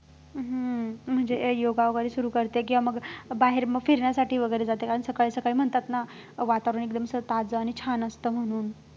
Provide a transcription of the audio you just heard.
हम्म हम्म हम्म हम्म म्हणजे योगा वगैरे सुरु करते किंवा मग बाहेर मग फिरण्यासाठी वगैरे जाते कारण सकाळी सकाळी म्हणतात ना वातावरण एकदम ताजं आणि छान असतं म्हणून